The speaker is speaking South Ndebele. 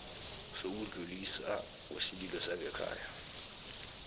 sokudluliswa kwesililo sangekhaya